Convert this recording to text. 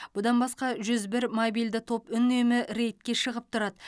бұдан басқа жүз бір мобильді топ үнемі рейдке шығып тұрады